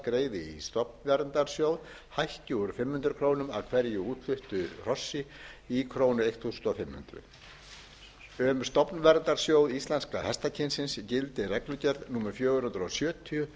í stofnverndarsjóð hækki úr krónum fimm hundruð af hverju útfluttu hrossi í krónur fimmtán hundruð um stofnverndarsjóð íslenska hestakynsins gildir reglugerð númer fjögur hundruð sjötíu